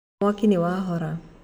Mwaki nĩwahora.